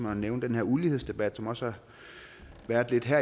at nævne den her ulighedsdebat som også har været her